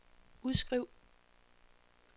udskriv